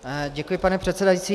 Děkuji, pane předsedající.